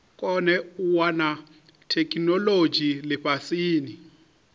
kone u wana theikinolodzhi lifhasini